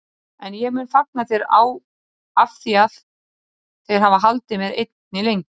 En ég mun fagna þér afþvíað þeir hafa haldið mér einni lengi.